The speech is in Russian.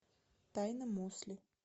тайна мосли